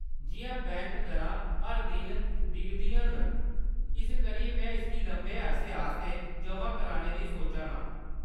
जिʼयां, बैंक दरां हर दिन डिग्गा’रदियां न, इस करियै में इसगी लम्मे अरसे आस्तै जमा कराने दी सोचा नी आं।